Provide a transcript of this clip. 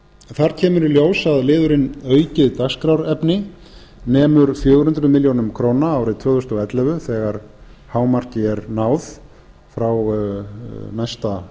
þar kemur í ljós að aukið dagskrárefni nemur fjögur hundruð ár árið tvö þúsund og ellefu þegar hámarki er náð frá næsta